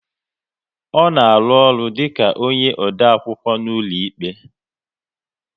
Ọ na arụ ọrụ dịka onye odeakwụkwọ n'ụlọikpe?